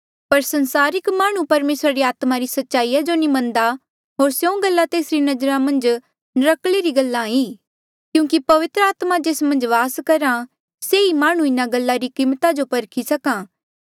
पर सांसारिक माह्णुं परमेसरा री आत्मा री सच्चाई जो नी मन्नदा होर स्यों गल्ला तेसरी नजरा मन्झ नर्क्कले री गल्ला ई क्यूंकि पवित्र आत्मा जेस मन्झ वास करहा से ही माह्णुं इन्हा गल्ला री कीमता जो परखी सक्हा